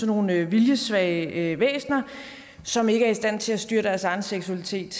nogle viljesvage væsner som ikke er i stand til at styre deres egen seksualitet